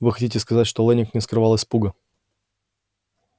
вы хотите сказать что лэннинг не скрывал испуга